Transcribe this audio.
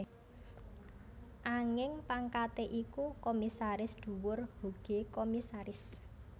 Anging pangkaté iku Komisaris Dhuwur Hoge Commissaris